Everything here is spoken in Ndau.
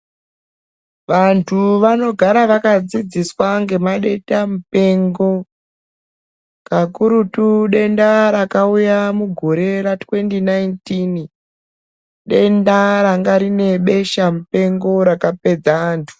Vantu vanogara vakadzidziswa ngema denda mupengo, kakurutu denda rakauya mugore ra "2019" denda ranga rine besha mpengo rakapedza antu.